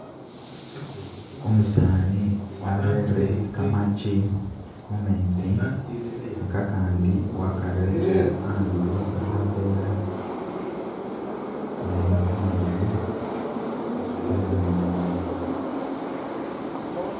Umusani warere kamaki mu metsi, kakandi wakarere andulo mu khavela, naye umwene wenamilile.